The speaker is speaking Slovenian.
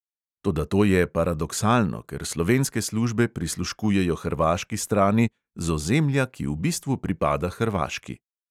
Toda to je paradoksalno, ker slovenske službe prisluškujejo hrvaški strani z ozemlja, ki v bistvu pripada hrvaški.